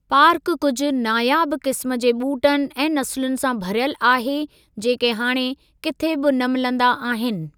पार्कु कुझु नायाबु क़िस्म जे ॿूटनि ऐं नसुलनि सां भरियलु आहे जेके हाणे किथे बि न मिलंदा आहिनि।